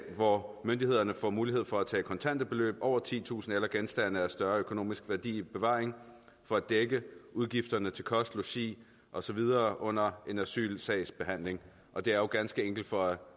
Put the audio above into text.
hvor myndighederne har mulighed for at tage kontante beløb over titusind kroner eller genstande af større økonomisk værdi i bevaring for at dække udgifterne til kost logi og så videre under en asylsags behandling og det er jo ganske enkelt for at